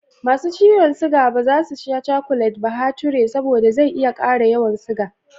Ma su ciyon siga ba za su ci cakulet bahature, saboda zai iya ƙara yawan siga.